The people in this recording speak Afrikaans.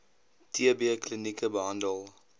tb klinieke behandel